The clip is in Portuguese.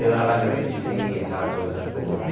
E a lágrima descia, aquela coisa toda.